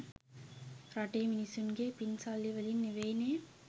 රටේ මිනිස්සුන්ගෙ පින් සල්ලි වලින් නෙවෙයිනෙ.